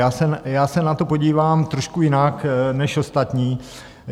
Já se na to podívám trošku jinak než ostatní.